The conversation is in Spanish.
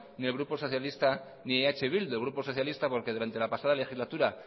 ni el grupo socialista ni eh bildu el grupo socialista porque durante la pasada legislatura